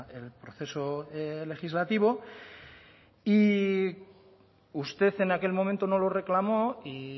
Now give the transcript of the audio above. el proceso legislativo y usted en aquel momento no lo reclamó y